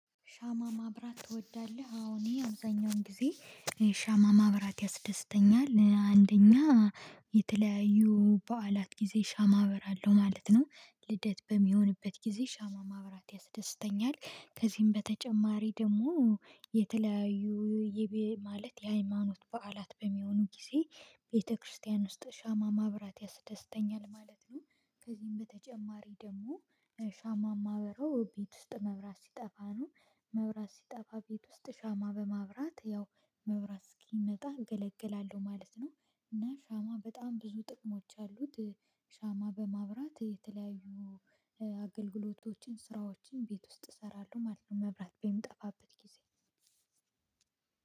ሻማ ማብራት ትወዳለህ? አዎ እኔ አብዛኛዉን ጊዜ ሻማ ማብራት ያስደስተኛል። አንደኛ የተለያዩ በዓላት ጊዜ ሻማ አበራለሁ ማለት ነው። ልደት በሚሆንበት ጊዜ ሻማ ማብራት ያስደስተኛል። ከዚህም በተጨማሪ ደግሞ የተለያዩ ይቤ ማለት የሃይማኖት በዓላት በሚሆኑ ጊዜ ቤተክርስቲያን ውስጥ ሻማ ማብራት ያስደስተኛል ማለት ነው። ከዚህም በተጨማሪ ደግሞ ሻማማ እማበረው ቤት ውስጥ መብራት ሲጠፋ ነው። መብራት ሲጠፋ ቤት ውስጥ ሻማ በማብራት ያው መብራት እስኪመጣ እገለግላለሁ ማለት ነው። እና ሻማ በጣም ብዙ ጥቅሞች አሉት። ሻማ በማብራት የተለያዩ አገልግሎቶችን ስራዎችን ቤት ውስጥ እሰራለሁ ማለት ነው መብራት በሚጠፋበት ጊዜ